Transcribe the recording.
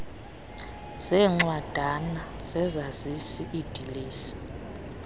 zeencwadana zezazisi iidilesi